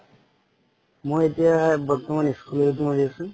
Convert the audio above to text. মই এতিয়া বৰ্তমান school ত কৰি আছো।